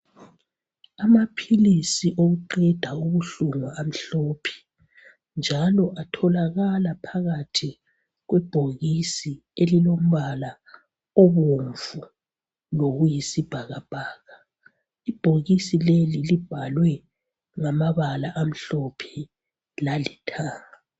Amaphilisi okuqeda ubuhlungu amhlophe njalo atholakala phakathi kwebhokisi elilombala obomvu lokuyisibhakabhaka, ibhokisi leli libhalwe ngamabala amhlophe lalithanga